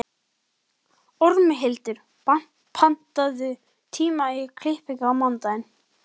Ormhildur, pantaðu tíma í klippingu á mánudaginn.